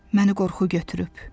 Məni qorxu götürüb.